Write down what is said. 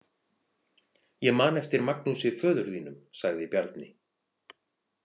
Ég man eftir Magnúsi föður þínum, sagði Bjarni.